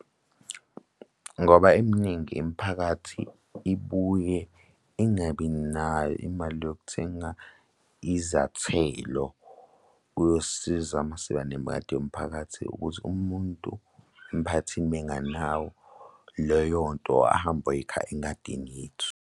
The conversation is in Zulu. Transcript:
Ngoba eminingi imiphakathi ibuye ingabi nayo imali yokuthenga izathelo kuyosiza uma siba nengadi yomphakathi ukuthi umuntu emiphakathini menganawo leyo nto ahambe ayoyikha engadini yethu.